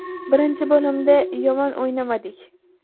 Birinchi bo‘limda yomon o‘ynamadik.